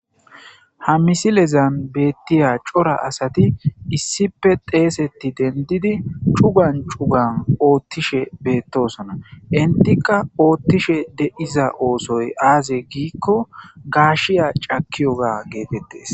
Ha misilezan beettiya cora asati issipe teesetti dendidi cugan cugan oottishe beettosona intika oottishe deiza oosoy aaze giikko gaashiya cakiyoga geetettes.